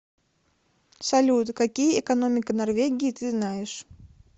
салют какие экономика норвегии ты знаешь